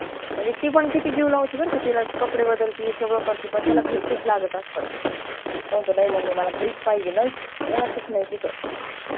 म्हणजे ती पण किती जीव लावती बर का तिला कपडे बदलती सगळ करती पण त्याला घरचेच लागत असतात तो म्हणतो नाई mummy मला घरीच पाहिजे नाहीच राहातच नाही तिथ